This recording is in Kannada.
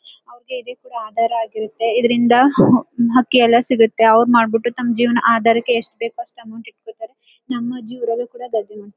ಅವರಿಗೆ ಇದೆ ಅದರ ಆಗಿರುತ್ತೆ ಇದ್ರಿಂದ ಅಕ್ಕಿ ಎಲ್ಲ ಸಿಗುತ್ತೆ ಅವರಮಾಡ್ಬಿಟ್ಟು ತಮ್ಮ ಜೀವನ ಅದರಕೆ ಎಷ್ಟು ಬೇಕು ಅಷ್ಟು ಅಮೌಂಟ್ ಇಟ್ಕೋತಾರೆ.